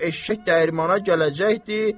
Çünki eşşək dəyirmana gələcəkdi.